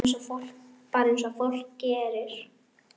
Bara eins og fólk gerir.